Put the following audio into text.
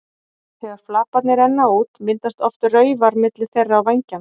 Þegar flaparnir renna út myndast oft raufar milli þeirra og vængjanna.